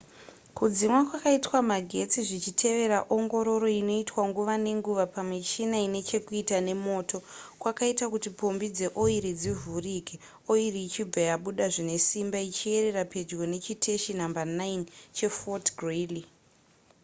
kudzimwa kwakaitwa magetsi zvichitevera ongororo inoitwa nguva nenguva pamichina ine chekuita nemoto kwakaita kuti pombi dzeoiri dzivhurike oiri ichibva yabuda zvine simba ichiyerera pedyo nechiteshi nhamba 9 chefort greely